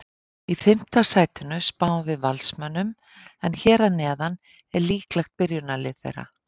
Í fimmta sætinu spáum við Valsmönnum en hér að neðan er líklegt byrjunarlið þeirra.